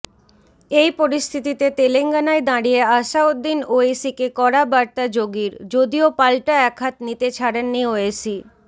এই পরিস্থিতিতে তেলেঙ্গানায় দাঁড়িয়ে আসাউদ্দিন ওয়েইসিকে কড়া বার্তা যোগীর যদিও পালটা একহাত নিতে ছাড়েননি ওয়েইসি